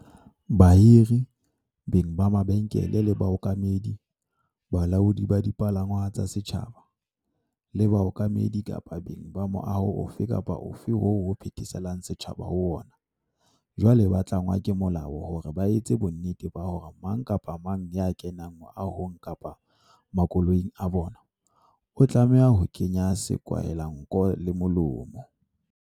Bahiri, beng ba mabenkele le baokamedi, balaodi ba dipalangwang tsa setjhaba, le baokamedi kapa beng ba moaho ofe kapa ofe oo ho phetheselang setjhaba ho ona, jwale ba tlangwa ke molao hore ba etse bonnete ba hore mang kapa mang ya kenang meahong kapa makoloing a bona, o tlameha ho kenya sekwahelanko le molomo.